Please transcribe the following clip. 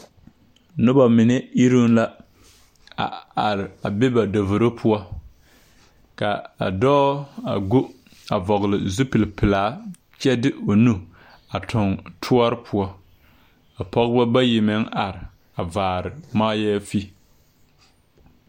Nobɔ mine iruŋ la a are a be ba davoro poɔ ka a dɔɔ a go a vɔgle zupil pilaa kyɛ de o nu a tuŋ tɔɔre poɔ ka pɔgebɔ bayi meŋ are vaare mariyaafi.